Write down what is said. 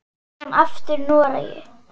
Síðan aftur í Noregi.